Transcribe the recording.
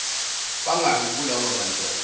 bangaki kulaba bantwana